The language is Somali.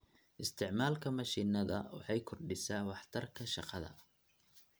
Isticmaalka mashiinada waxay kordhisaa waxtarka shaqada.